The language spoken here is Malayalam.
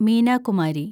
മീന കുമാരി